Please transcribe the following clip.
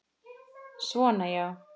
Svona já.